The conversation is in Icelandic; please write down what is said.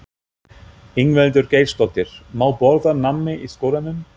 Ingveldur Geirsdóttir: Má borða nammi í skólanum?